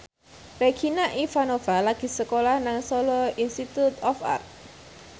Regina Ivanova lagi sekolah nang Solo Institute of Art